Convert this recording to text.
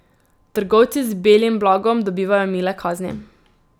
Trgovci z belim blagom dobivajo mile kazni.